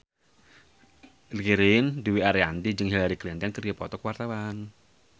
Ririn Dwi Ariyanti jeung Hillary Clinton keur dipoto ku wartawan